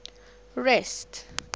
rest